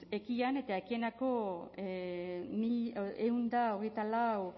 ekian eta ekieneako ehun eta hogeita lau